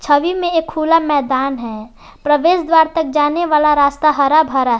छवि मे एक खुला मैदान है प्रवेश द्वार तक जाने वाला रास्ता हरा भरा--